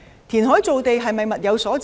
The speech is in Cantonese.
填海造地是否物有所值？